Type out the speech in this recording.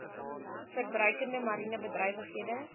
verbruikende mariene bedrywighede